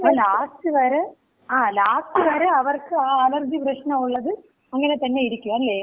അപ്പോ ലാസ്റ്റ് വരെ ലാസ്റ്റ് വരെ അവർക്ക് ആ അലർജി പ്രശ്നം ഉള്ളത് അങ്ങനെ തന്നെ ഇരിക്കും. അല്ലെ?